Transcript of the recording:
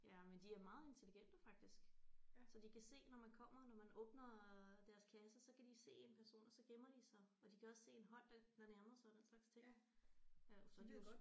Ja men de er meget intelligente faktisk så de kan se når man kommer når man åbner deres kasse så kan de se en person og så gemmer de sig og de kan også en hånd der der nærmer sig og den slags ting jo så